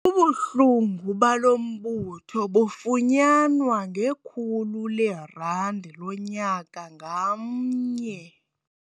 Ubulungu balo mbutho bufunyanwa ngekhulu leerandi lonyaka ngamnye.